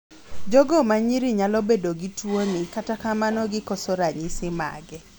jogo manyiri nyalo bedo gi tuo ni kata kamano gikoso ranyisi mage